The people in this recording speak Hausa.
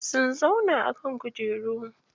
Sun zauna a kan kujeru.